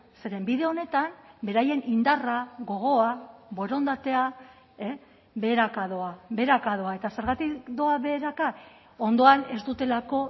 zeren bide honetan beraien indarra gogoa borondatea beheraka doa beheraka doa eta zergatik doa beheraka ondoan ez dutelako